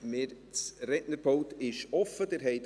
Das Rednerpult ist steht Ihnen offen.